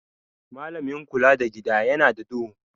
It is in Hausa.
Malamin kula da Gida yana da duhu.